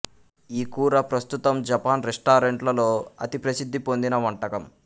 ఈ కూర ప్రస్తుతం జపాన్ రెస్టారెంట్లలో అతి ప్రసిద్ధి పొందిన వంటకం